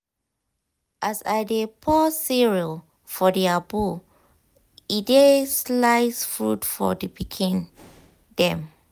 as i i dey pour cereal for their bowl e dey slice fruit for the pikin dem.